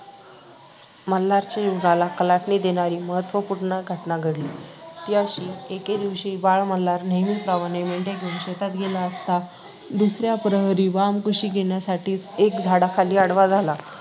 मल्हारच्या जीवनाला कलाटणी देणारी महत्त्वपूर्ण घटना घडली. ती अशी – एके दिवशी बाळ मल्हार नेहमीप्रमाणे मेंढ्या घेऊन शेतात गेला असता दुसऱ्या प्रहरी वामकुक्षी घेण्यासाठी एका झाडाखाली आडवा झाला.